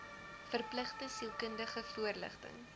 verpligte sielkundige voorligting